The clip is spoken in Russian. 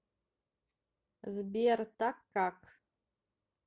сбер так как